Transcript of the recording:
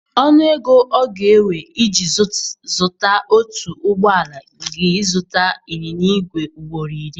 Ọnụ ego ọ ga-ewe iji zuta otu ụgbọ ala ga ịzụta ịnyịnya igwe ugboro iri.